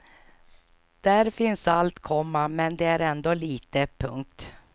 Där finns allt, komma men det är ändå litet. punkt